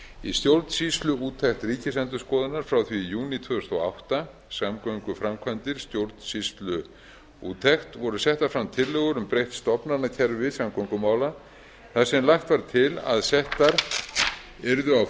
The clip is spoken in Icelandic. í stjórnsýsluúttekt ríkisendurskoðunar frá því í júní tvö þúsund og átta samgönguframkvæmdir stjórnsýsluúttekt voru settar fram tillögur um breytt stofnanakerfi samgöngumála þar sem lagt var til að settar yrðu á